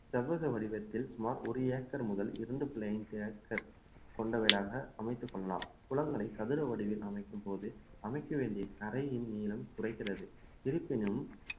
செவ்வக வடிவத்தில் சுமார் ஒரு ஏக்கர் முதல் ஏக்கர் கொண்டவைகளாக அமைத்துக் கொள்ளலாம் குளங்களை சதுர வடிவில் அமைக்கும்போது அமைக்க வேண்டிய கரையின் நீளம் குறைகிறது இருப்பினும்